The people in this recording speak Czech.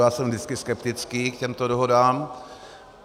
Já jsem vždycky skeptický k těmto dohodám.